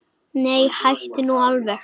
Nei, hættu nú alveg!